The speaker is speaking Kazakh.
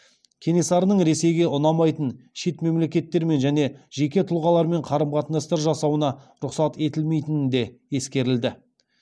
кенесарының ресейге ұнамайтын шет мемлекеттермен және жеке тұлғалармен қарым қатынастар жасауына рұқсат етілмейтіні де ескерілді